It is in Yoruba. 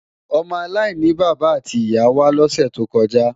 Ọmọ aláìní bàbá àti ìyá wá lọ́sè tó kọjá